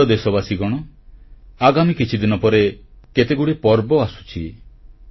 ମୋର ପ୍ରିୟ ଦେଶବାସୀଗଣ ଆଗାମୀ କିଛିଦିନ ପରେ କେତେଗୁଡ଼ିଏ ପର୍ବ ଆସୁଛି